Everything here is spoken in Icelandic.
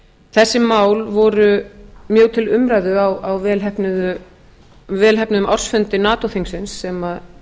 þessi mál voru mjög til umræðu á vel heppnuðum ársfundi nato þingsins sem